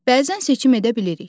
Bəzən seçim edə bilirik.